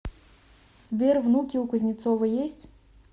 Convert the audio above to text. сбер внуки у кузнецова есть